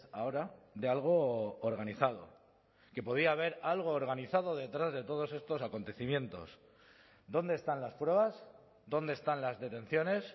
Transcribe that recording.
ahora de algo organizado que podía haber algo organizado detrás de todos estos acontecimientos dónde están las pruebas dónde están las detenciones